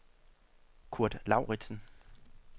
Kurt Lauritsen